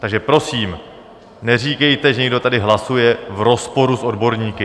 Takže prosím, neříkejte, že někdo tady hlasuje v rozporu s odborníky.